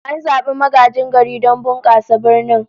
An zabi magajin garin don bunkasa birnin